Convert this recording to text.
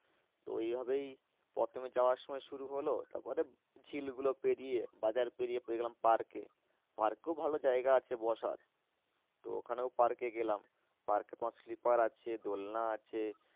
তো এই ভাবেই প্রথমে যাওয়ার সময় শুরু হলো তারপরে ঝিল গুলো পেরিয়ে বাজার পেরিয়ে পেয়ে গেলাম park এ park এও ভালো জায়গা আছে বসার তো ওখানেও park এ গেলাম park এ তোমার sleeper আছে দোলনা আছে